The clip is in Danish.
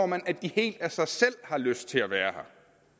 man at de helt af sig selv har lyst til at være